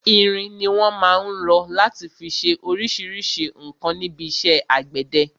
Irin ni wọn má ń rọ láti fi ṣe oríṣríṣi nǹkan níbi iṣẹ́ àgbẹ̀dẹ.